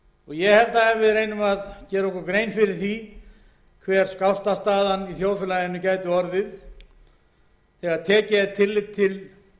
ég held að ef við reynum að gera okkur grein fyrir því hver skásta staðan í þjóðfélaginu geti orðið þegar tekið er tillit til þess